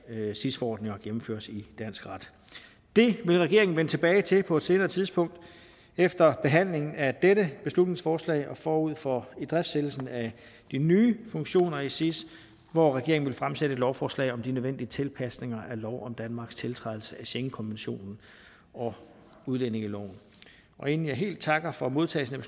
sis forordninger gennemføres i dansk ret det vil regeringen vende tilbage til på et senere tidspunkt efter behandlingen af dette beslutningsforslag og forud for idriftsættelsen af de nye funktioner i sis hvor regeringen vil fremsætte et lovforslag om de nødvendige tilpasninger af lov om danmarks tiltrædelse af schengenkonventionen og udlændingeloven inden jeg helt takker for modtagelsen af